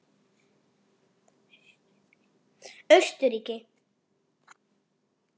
Austurríki